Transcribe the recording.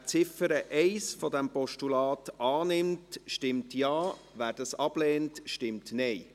Wer Ziffer 1 dieses Postulats annimmt, stimmt Ja, wer das ablehnt, stimmt Nein.